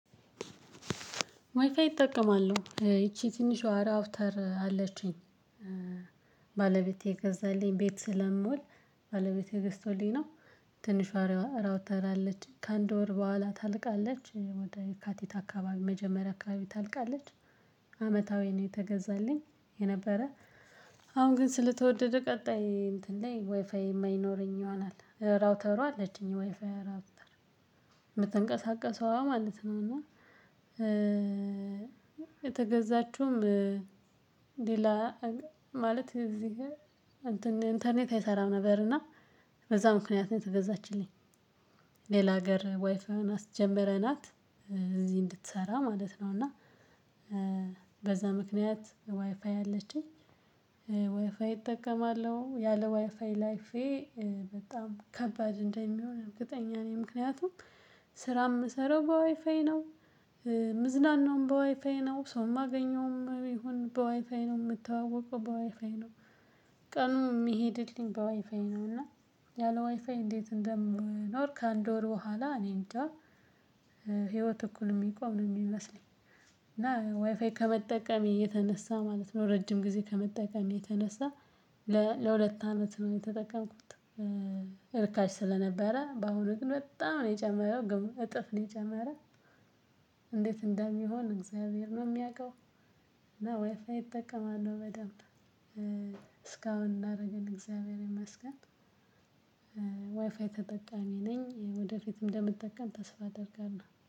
ዋይፋይ እጠቀማለሁ ይቺ ትንሿ ራውተር አለችኝ። ባለቤቴ የገዛልኝ ቤት ስለምውል ባለቤቴ ገዝቶልኝ ነው። ትንሿ ራ ራውተር አለችኝ ከአንድ ወር በኋላ ታልቃለች ወደ የካቲት አካባቢ መጀመሪያ አካባቢ ታልቃለች። አመታዊ ነው የተገዛልኝ የነበረ። አሁን ግን ስለተወደደ ቀጣይ እንትን ላይ ዋይፋይ የማይኖረኝ ይሆናል ራውተሯ አለችኝ የዋይፋይ ራውተር የምትንቀሳቀሰዋ ማለት ነው። እና የተገዛችውም ሌላ ማለት እዚህ እንትን ኢንተርኔት አይሰራም ነበር። እና በዛ ምክንያት ነው የተገዛችልኝ። ሌላ ሀገር ዋይፋዩን አስጀምረናት እዚህ እንድትሰራ ማለት ነው። እና በዛ ምክንያት ዋይፋይ አለችኝ። ዋይፋይ እጠቀማለሁ ያለ ዋይፋይ ላይፌ በጣም ከባድ እንደሚሆን እርግጠኛ ነኝ። ምክንያቱም ስራ የምሰራው በዋይፋይ ነው። ምዝናናውም በዋይፋይ ነው ሰው የማገኘውም ቢሆን በዋይፋይ ነው የምተዋወቀው በዋይፋይ ነው። ቀኑ የሚሄድልኝ በዋይፋይ ነው እና ያለው ዋይፋይ እንዴት እንደምኖር ከአንድ ወር በኋላ እኔ እንጃ። ህይወት እኩል የሚቆም ነው የሚመስለኝ። እና ዋይፋይ ከመጠቀሜ የተነሳ ማለት ነው። ረጅም ጊዜ ከመጠቀሜ የተነሳ ለ ለሁለት አመት ነው የተጠቀምኩት። እርካሽ ስለነበረ በአሁኑ ግን በጣም ነው የጨመረው ግን እጥፍ ነው የጨመረ። እንዴት እንደሚሆን እግዚያብሔር ነው የሚያውቀው። እና ዋይፋይ እጠቀማለሁ በደንብ እስካሁን ላደረገልን እግዚያብሔር ይመስገን። ዋይፋይ ተጠቃሚ ነኝ ወደፊትም እንደምጠቀም ተስፋ አደርጋለሁ